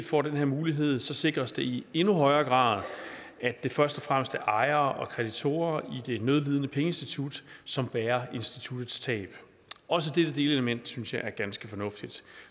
får den mulighed sikres det i endnu højere grad at det først og fremmest er ejere og kreditorer i det nødlidende pengeinstitut som bærer instituttets tab også dette delelement synes jeg er ganske fornuftigt